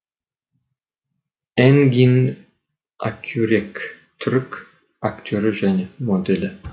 энгин акюрек түрік актері және моделі